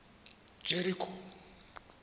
jeriko